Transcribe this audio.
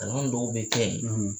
Kalan dɔw bɛ kɛ yen